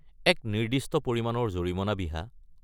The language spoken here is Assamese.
এক নিৰ্দিষ্ট পৰিমাণৰ জৰিমনা বিহা।